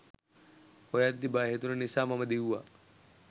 හොයද්දී බය හිතුණ නිසා මම දිව්වා.